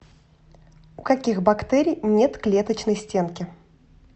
у каких бактерий нет клеточной стенки